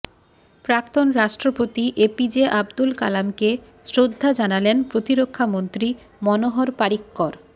প্রাক্তন রাষ্ট্রপতি এপিজে আবদুল কালামকে শ্রদ্ধা জানালেন প্রতিরক্ষামন্ত্রী মনোহর পারিক্কর